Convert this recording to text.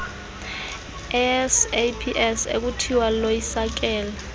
saps ekuthiwa loyisakele